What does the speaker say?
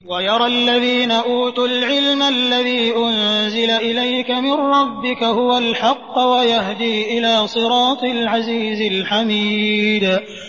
وَيَرَى الَّذِينَ أُوتُوا الْعِلْمَ الَّذِي أُنزِلَ إِلَيْكَ مِن رَّبِّكَ هُوَ الْحَقَّ وَيَهْدِي إِلَىٰ صِرَاطِ الْعَزِيزِ الْحَمِيدِ